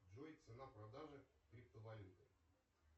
джой цена продажи криптовалюты